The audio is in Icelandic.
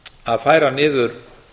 að færa niður